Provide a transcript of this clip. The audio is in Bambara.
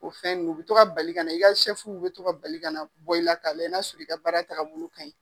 O fɛn nunnu, u bi tɔ ka bali ka na. I ka be to ka bali ka na bɔ i la , ka lajɛ n'a sɔrɔ i ka baara taa bolo ka ɲi.